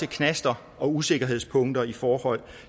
knaster og usikkerhedspunkter i forhold